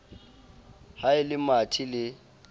ha e le mathe le